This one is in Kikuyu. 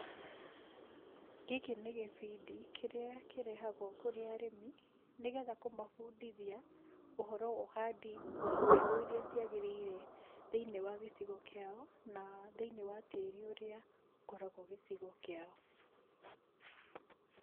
Gĩkĩ nĩ gĩbindi kĩrĩa kĩrehagwo kũrĩ arĩmi, nĩgetha kũmabundithia ũhoro wa ũhandi wa mbegũ irĩa ciagĩrĩire thĩiniĩ wa gĩcigo kĩao, na thĩiniĩ wa tĩri ũrĩa ũkoragwo gĩcigo kĩao.